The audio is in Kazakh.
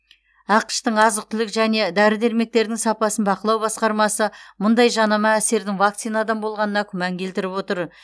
ақш тың азық түлік және дәрі дәрмектердің сапасын бақылау басқармасы мұндай жанама әсердің вакцинадан болғанына күмән келтіріп отыр